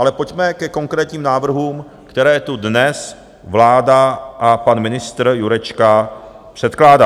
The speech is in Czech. Ale pojďme ke konkrétním návrhům, které tu dnes vláda a pan ministr Jurečka předkládá.